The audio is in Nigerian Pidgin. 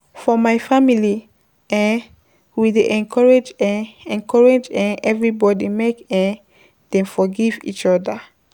For my family, we dey encourage everybody make dem forgive eachoda.